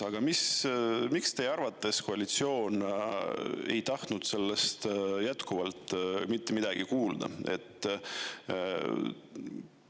Aga miks teie arvates ei ole koalitsioon tahtnud nendest jätkuvalt mitte midagi kuulda?